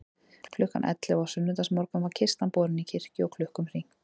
Klukkan ellefu á sunnudagsmorgun var kistan borin í kirkju og klukkum hringt.